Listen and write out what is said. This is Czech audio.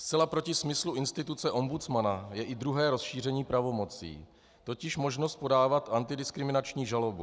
Zcela proti smyslu instituce ombudsmana je i druhé rozšíření pravomocí, totiž možnost podávat antidiskriminační žalobu.